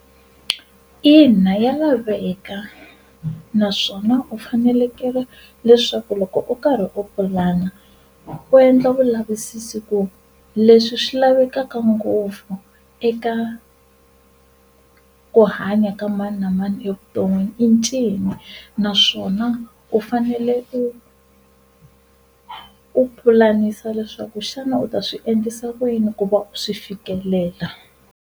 Ina ya laveka, naswona u fanekele leswaku loko u karhi u pulana u endla vulavisisi ku leswi swi lavekaka ngopfu eka ku hanya ka mani na mani evuton'wini i ncini, naswona u fanele u u pulanisa leswaku xana u ta swi endlisa ku yini ku va u swi fikelela.